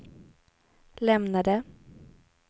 lämnade